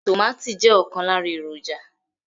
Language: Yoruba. Tomati je okan lara eroja